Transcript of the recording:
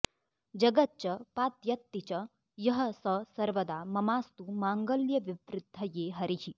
जगच्च पात्यत्ति च यः स सर्वदा ममास्तु माङ्गल्यविवृद्धये हरिः